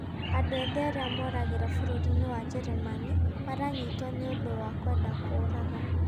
Andũ ethĩ arĩa moragĩra bũrũri-inĩ wa Njĩrĩmani, maranyitwo ni ũndũ wa kũenda kũũraga